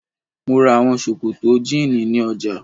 Mo ra àwọn sòkòtò jíìnì ní ọjà.